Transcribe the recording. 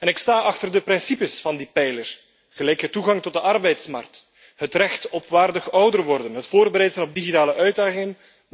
Ik sta achter de principes van die pijler gelijke toegang tot de arbeidsmarkt, het recht op waardig ouder worden, het voorbereid zijn op digitale uitdagingen.